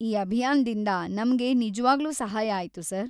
ಈ ಅಭಿಯಾನ್ದಿಂದ ನಮ್ಗೆ ನಿಜವಾಗ್ಲೂ ಸಹಾಯ ಆಯ್ತು ಸರ್.